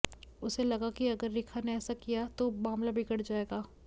उसे लगा कि अगर रेखा ने ऐसा किया तो मामला बिगड़ जाएगा